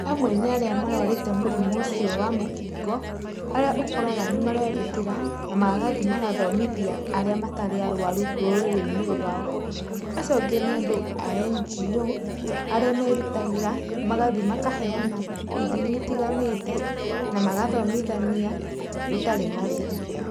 Amwe nĩ arĩa marwarĩte mũrimũ ũcio wa mũkingo, arĩa ũkoraga nĩmarerutĩra na magathiĩ magathomithia arĩa matarĩ arwaru rũrĩrĩ-inĩ rwao. Acio angĩ nĩ andũ a NGO, arĩa merutagĩra magathi makaheana ithimi itiganĩte, na magathomithania gũtarĩ marĩhi.